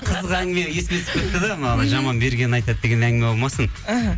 қызық әңгіме есіме түсіп кетті де мына жаман бергенін айтады деген әңгіме болмасын іхі